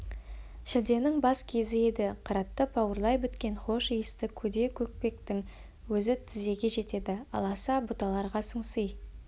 шілденің бас кезі еді қыратты бауырлай біткен хош иісті көде-көкпектің өзі тізеге жетеді аласа бұталарға сыңси